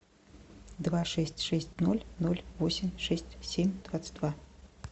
два шесть шесть ноль ноль восемь шесть семь двадцать два